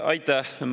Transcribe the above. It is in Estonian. Aitäh!